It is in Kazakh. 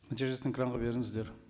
нәтижесін экранға беріңіздер